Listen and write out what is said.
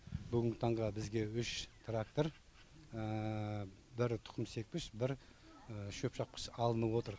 бүгінгі таңға бізге үш трактор бір тұқымсепкіш бір шөпшапқыш алынып отыр